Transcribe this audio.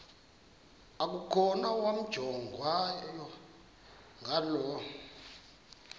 okukhona wamjongay ngaloo